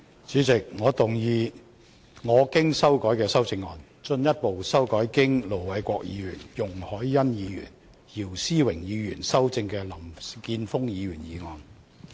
主席，我動議我經修改的修正案，進一步修正經盧偉國議員、容海恩議員及姚思榮議員修正的林健鋒議員議案。